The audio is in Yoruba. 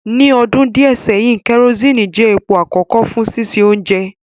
Ni ọdun diẹ sẹhin, kerosene jẹ epo akọkọ fun sise ounje